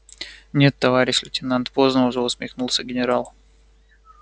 нет товарищ лейтенант поздно уже усмехнулся генерал